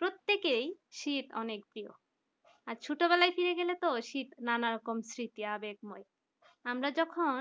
প্রত্যেকের শীত অনেক প্রিয় আর ছোটবেলায় ফিরে গেলে তো শীত নানা রকম স্মৃতি আবেগ হয় আমরা যখন